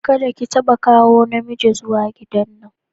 Kadda ki tabba kawo na miji zuwa gidan nan!